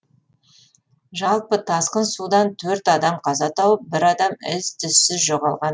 жалпы тасқын судан төрт адам қаза тауып бір адам із түзсіз жоғалған